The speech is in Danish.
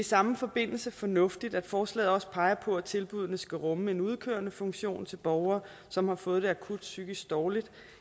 samme forbindelse fornuftigt at forslaget også peger på at tilbuddene skal rumme en udkørende funktion til borgere som har fået det akut psykisk dårligt